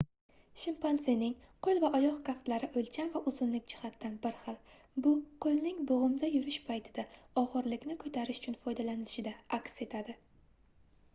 shimpanzening qoʻl va oyoq kaftlari oʻlcham va uzunlik jihatidan bir xil bu qoʻlning boʻgʻimda yurish paytida ogʻirlikni koʻtarish uchun foydalanilishida aks etadi